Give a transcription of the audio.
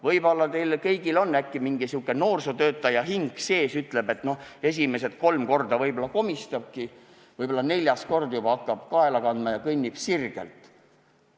Võib-olla teil kõigil on äkki sihuke noorsootöötaja hing sees, mis ütleb, et noh, esimesed kolm korda võib-olla komistabki, aga äkki neljandal korral hakkab juba kaela kandma ja kõnnib sirgelt.